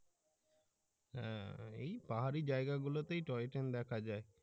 হ্যা ওই পাহাড়ি জায়গা গুলোতেই টয় ট্রেন দেখা যায়